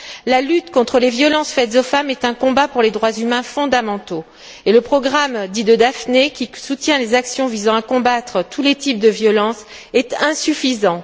La lutte contre les violences faites aux femmes est un combat pour les droits humains fondamentaux et le programme dit de Daphné, qui soutient les actions visant à combattre tous les types de violence, est insuffisant.